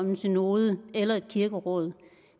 om en synode eller et kirkeråd